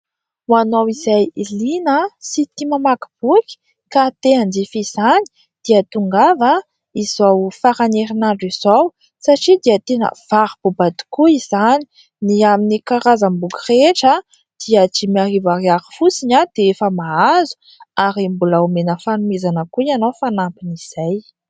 Ho anao izay lina sy tia mamaky boky ka tia hanjifa izany dia tongava izao faran'ny herinandro izao satria dia tena varo-boba tokoa izany. Ny amin'ny karazam-boky rehetra dia dimy arivo fosiny dia efa mahazo ary mbola homena fanomezana koa ianao fanampin' izay.